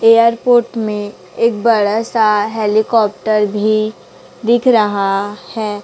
Airport में एक बड़ा सा हेलीकॉप्टर भी दिख रहा है।